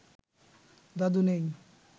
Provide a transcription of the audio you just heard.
দাদু নেই